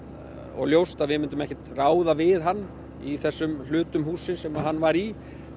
og ljóst að við myndum ekkert ráða við hann í þessum hlutum hússins sem hann var í